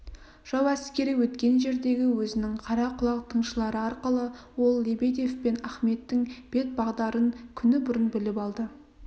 жау әскері өткен жерлердегі өзінің қара құлақ тыңшылары арқылы ол лебедев пен ахметтің бет-бағдарын күні бұрын біліп алды